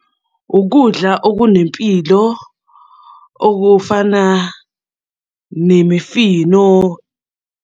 Ukudla okunempilo okufana nemifino.